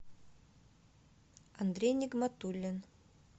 андрей нигматуллин